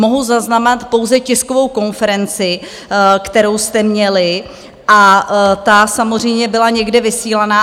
Mohu zaznamenat pouze tiskovou konferenci, kterou jste měli, a ta samozřejmě byla někde vysílána.